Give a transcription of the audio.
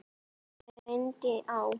Þá reyndi á.